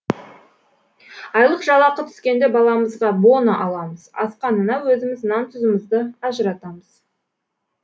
айлық жалақы түскенде баламызға бона аламыз асқанына өзіміз нан тұзымызды ажыратамыз